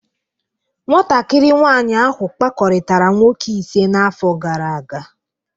Nwatakịrị nwanyị ahụ kpakọrịtara nwoke ise n'afọ gara aga